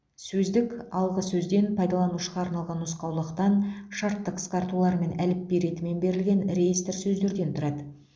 сөздік алғы сөзден пайдаланушыға арналған нұсқаулықтан шартты қысқартулар мен әліпби ретімен берілген реестр сөздерден тұрады